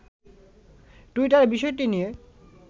টুইটারে বিষয়টি নিয়ে